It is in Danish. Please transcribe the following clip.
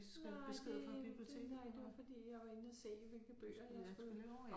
Nej det det nej det var fordi jeg var inde og se hvilke bøger jeg skulle